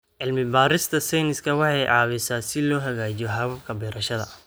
Cilmi-baarista sayniska waxay caawisaa si loo hagaajiyo hababka beerashada.